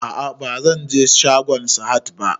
A'a bazan je shagon Sahad ba